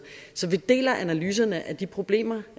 så vi deler analyserne af de problemer